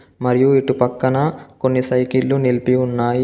మరియు ఇటు పక్కన కొన్ని సైకిల్లు నిలిపి ఉన్నాయి.